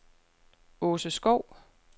Aase Skov